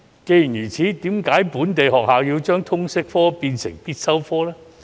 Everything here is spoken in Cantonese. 既然如此，為甚麼本地學校要將通識科列為必修科呢？